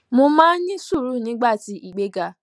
mo máa ń ní sùúrù nígbà tí ìgbéga